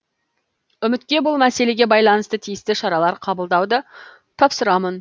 үкіметке бұл мәселеге байланысты тиісті шаралар қабылдауды тапсырамын